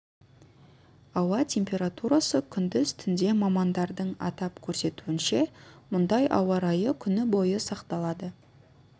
ауа температурасы күндіз түнде мамандардың атап көрсетуінше мұндай ауа райы күні бойы сақталады